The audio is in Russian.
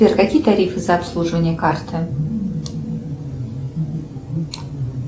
сбер какие тарифы за обслуживание карты